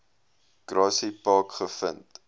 grassy park gevind